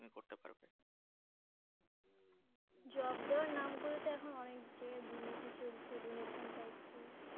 Job দেওয়ার নাম করে তো এখন অনেক জায়গায় দুর্নীতি চলছে Donation চাইছে।